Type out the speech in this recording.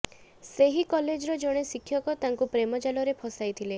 ସେହି କଲେଜର ଜଣେ ଶିକ୍ଷକ ତାଙ୍କୁ ପ୍ରେମ ଜାଲରେ ଫସାଇଥିଲେ